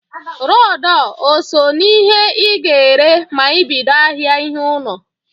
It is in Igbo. Rọd o so n'ihe i ga-ere ma i bido ahịa ihe ụnọ?